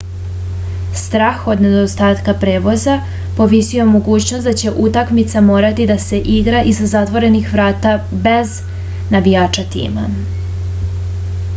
strah od nedostatka prevoza povisio je mogućnost da će utakmica morati da se igra iza zatvorenih vrata bez navijača tima